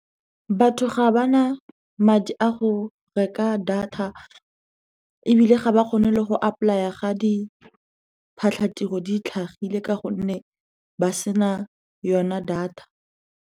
Batho ga ba na madi a go reka data, ebile ga ba kgone le go apply-a ga diphatlhatiro di tlhagile ka gonne ba sena yona data.